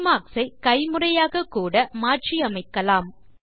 bookmarks ஐ கைமுறையாககூட நீங்கள் மாற்றியமைக்கலாம்